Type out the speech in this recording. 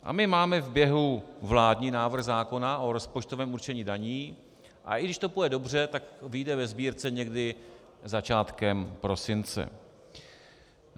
A my máme v běhu vládní návrh zákona o rozpočtovém určení daní, a i když to půjde dobře, tak vyjde ve Sbírce někdy začátkem prosince.